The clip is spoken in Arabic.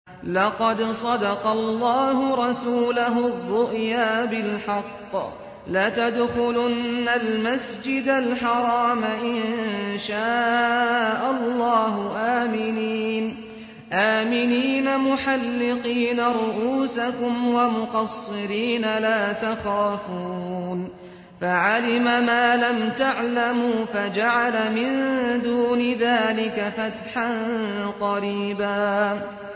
لَّقَدْ صَدَقَ اللَّهُ رَسُولَهُ الرُّؤْيَا بِالْحَقِّ ۖ لَتَدْخُلُنَّ الْمَسْجِدَ الْحَرَامَ إِن شَاءَ اللَّهُ آمِنِينَ مُحَلِّقِينَ رُءُوسَكُمْ وَمُقَصِّرِينَ لَا تَخَافُونَ ۖ فَعَلِمَ مَا لَمْ تَعْلَمُوا فَجَعَلَ مِن دُونِ ذَٰلِكَ فَتْحًا قَرِيبًا